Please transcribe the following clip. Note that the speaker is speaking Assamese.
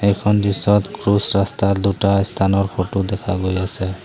এখন দৃশ্যত ৰাস্তাত দুটা স্থানৰ ফটো দেখা গৈ আছে।